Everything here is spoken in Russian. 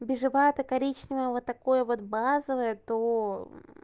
бежевая коричневая вот такое вот базовая то